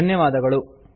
ಧನ್ಯವಾದಗಳು